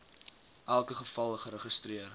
elke geval geregistreer